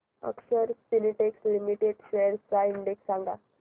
अक्षर Spintex limited shares चा index सांगा